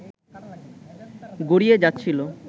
গড়িয়ে যাচ্ছিল